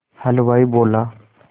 हलवाई बोला